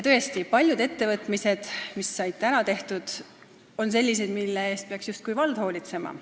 Tõesti, paljud ettevõtmised, mis said ära tehtud, on sellised, mille eest peaks hoolitsema justkui vald.